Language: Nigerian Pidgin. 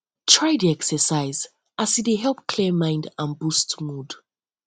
try dey exercise as e um dey help clear mind and boost mood